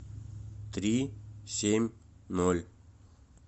три семь ноль